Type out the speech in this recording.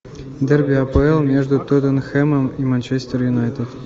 дерби апл между тоттенхэмом и манчестер юнайтед